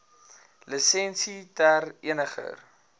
lisensie ter eniger